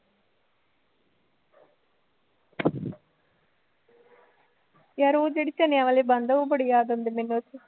ਯਾਰ ਉਹ ਜਿਹੜੇ ਚਨਿਆਂ ਵਾਲੇ ਬਣਦੇ ਨੇ ਉਹ ਬੜੇ ਯਾਦ ਆਉਂਦੇ ਨੇ ਬਸ